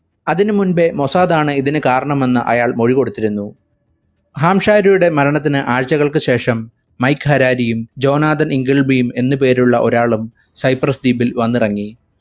അതിനു മുമ്പേ മൊസാദ് ആണ് കാരണമെന്ന് അയാൾ മൊഴി കൊടുത്തിരുന്നു ഹാംശാരിയുടെ മരണത്തിനു ആഴ്ചകൾക്കു ശേഷം മൈക്ക് ഹരാരിയും ജോൺ ആദം ഇൻഗൾബിയും എന്ന് പേരുള്ള ഒരാളും സൈപ്രസ് ദ്വീപിൽ വന്നിറങ്ങി